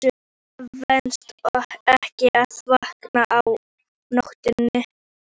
Það venst ekki að vakna á nóttunni.